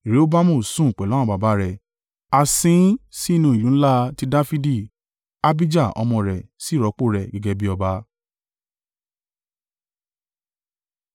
Rehoboamu sun pẹ̀lú àwọn baba rẹ̀ a sin ín sínú ìlú ńlá ti Dafidi. Abijah ọmọ rẹ̀ sì rọ́pò rẹ̀ gẹ́gẹ́ bí ọba.